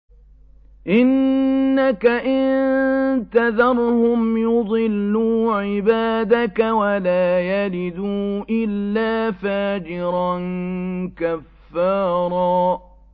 إِنَّكَ إِن تَذَرْهُمْ يُضِلُّوا عِبَادَكَ وَلَا يَلِدُوا إِلَّا فَاجِرًا كَفَّارًا